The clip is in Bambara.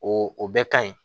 O o bɛɛ ka ɲi